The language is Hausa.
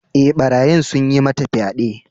E, barayin sun yi mata fyaɗe.